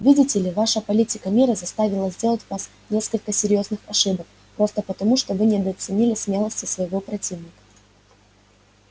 видите ли ваша политика мира заставила сделать вас несколько серьёзных ошибок просто потому что вы недооценили смелости своего противника